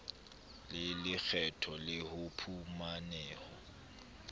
le lekgetho le o phumaneho